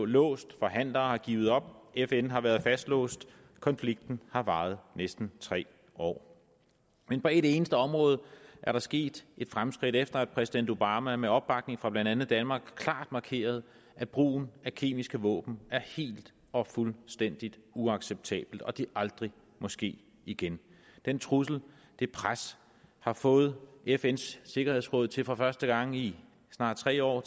låst forhandlere har givet op fn har været fastlåst konflikten har varet næsten tre år men på et eneste område er der sket fremskridt efter at præsident obama med opbakning fra blandt andet danmark klart markerede at brugen af kemiske våben er helt og fuldstændig uacceptabel og at det aldrig må ske igen den trussel det pres har fået fns sikkerhedsråd til for første gang i snart tre år